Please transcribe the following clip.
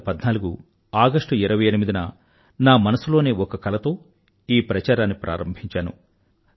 2014 August 28 న నా మనసులోని ఒక కలతో ఈ ప్రచారాన్ని ప్రారంభించాను